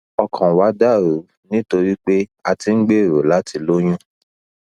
ọkàn wa dà rú nítorí pé a ti ń gbèrò láti lóyún